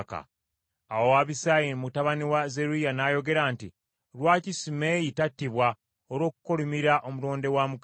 Awo Abisaayi mutabani wa Zeruyiya n’ayogera nti, “Lwaki Simeeyi tattibwa olw’okukolimira omulonde wa Mukama ?”